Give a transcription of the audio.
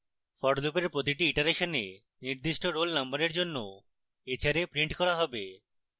for লুপের প্রতিটি ইটারেশনে নির্দিষ্ট roll নম্বরের জন্য hra printed hra হবে